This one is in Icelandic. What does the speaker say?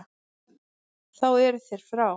Þá eru þeir frá.